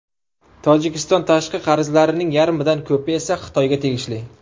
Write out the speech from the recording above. Tojikiston tashqi qarzlarining yarmidan ko‘pi esa Xitoyga tegishli.